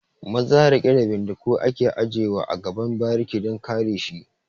Maza riƙe da bindigu ake aje wa a gaban bariki dan kare shi